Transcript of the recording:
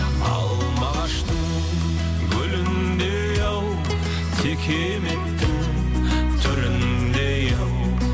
алма ағаштың гүліндей ау текеметтің түріндей ау